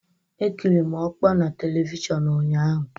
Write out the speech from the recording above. Ekiri m ọkpọ na Televishọnụ ụnyaahụ.